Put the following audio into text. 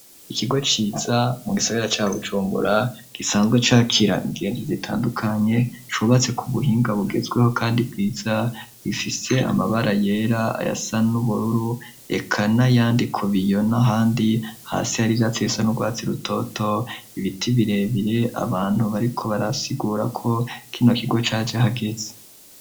Ikigo ciza mu gisagera ca Bucumbura gisanzwe cakira ingenzi zitandukanye cubatse ku buhinga bugezweho kandi bwiza bifise amabara yera aya sa n'ubururu eka n'ayandi ku biyo n'ahandi hasi hari ivyatsi bisa n'urwatse rutoto ibiti birebire abantu bariko barasigura ko kino kigo caje hageze.